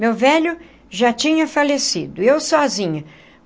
Meu velho já tinha falecido, eu sozinha.